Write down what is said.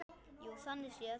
Jú, þannig séð.